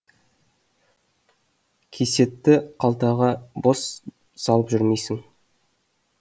кисетті қалтаға бос салып жүрмейсің